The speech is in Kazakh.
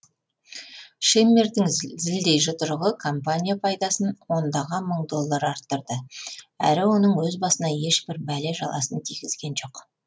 шеммердің зілдей жұдырығы компания пайдасын ондаған мың доллар арттырды әрі оның өз басына ешбір бәле жаласын тигізген жоқ